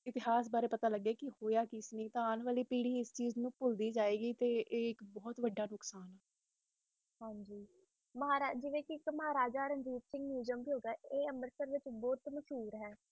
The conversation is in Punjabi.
ਆਪਣੇ ਇਤਿਹਾਸ ਬਾਰੇ ਪਤਾ ਲਾਗੈ ਕ ਹੋਇਆ ਕਿ ਸੀ ਨਹੀਂ ਤੇ ਆਂ ਆਲੀ ਪੀਰੀ ਇਸ ਨੂੰ ਭੁਲਦੀ ਜਾਏਗੀ ਤੇ ਏ ਇਕ ਬੋਹਤ ਬੜਾ ਨੁਕਸਾਨ ਹੈ ਹਨ ਜੀ ਮਹਾਰਾਜਾ ਰਣਜੀਤ ਸਿੰਘ ਹੋ ਗਏ ਆਏ ਪੰਜਾਬ ਦੇ ਮੁਖ ਮਸ਼ੀਰ ਹੈ